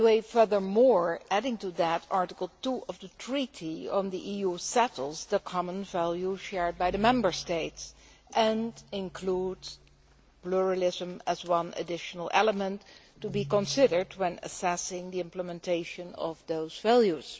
Furthermore, Article 2 of the Treaty on the EU settles the common values shared by the Member States and includes pluralism as one additional element to be considered when assessing the implementation of those values.